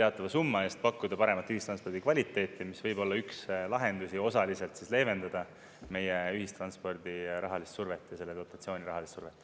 teatava summa eest pakkuda paremat ühistranspordi kvaliteeti, mis võib olla üks lahendusi osaliselt leevendada meie ühistranspordi rahalist survet ja selle dotatsiooni rahalist survet.